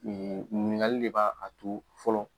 Ɲininkali de b'a a to fɔlɔ